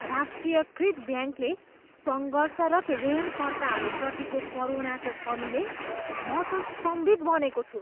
राष्ट्रियकृत ब्याङ्कले सङ्घर्षरत ऋणकर्ताहरूप्रतिको करुणाको कमीले म त स्तम्भित बनेको छु।